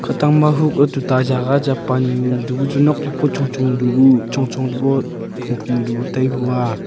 khatang ma huko tuta jaga cha pan du bu chu nok dai bu chongchong du bu phumphum du bu tai hu aa.